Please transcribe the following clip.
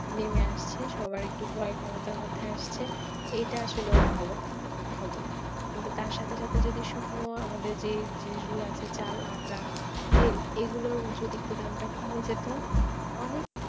নেমে আসছে, সবাই একটু প্রায় ক্ষমতার মধ্যে আসছে এটা আসলেও ভালো খবর কিন্তু তার সাথে সাথে শুকনো আমাদের যে জিনিসগুলা আছে চাল, আটা, তেল এগুলার যদি দাম একটু কমে যেত অনেক